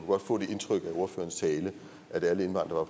godt få det indtryk af ordførerens tale at alle indvandrere